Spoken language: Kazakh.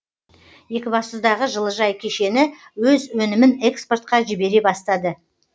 екібастұздағы жылыжай кешені өз өнімін экспортқа жібере бастады